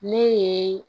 Ne ye